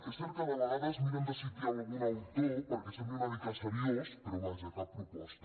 és cert que de vegades miren de citar algun autor perquè sembli una mica seriós però vaja cap proposta